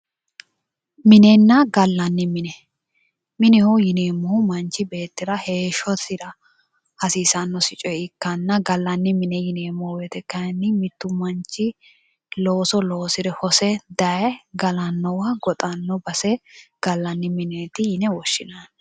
Minenna gallanni mine. mineho yineemmohu manchi beettira heeshshosira hasiisannosi coye ikkanna gallanni mine yineemmo wote kaayiinni mittu manchi looso loosire hose dayee galannowa goxanno base gallanni mieeti yine woshshinanni.